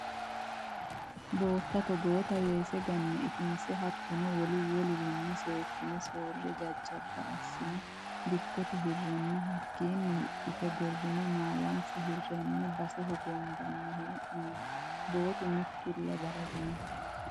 Bootta togotta weese gane itinse hattono wolu wolurinni seekkine soore jajjabba assine dikkote hirenna hakkinni hidhite gorine maalansa hirani base hogobbanni hee'noonni, bootu mitulla baraginonna.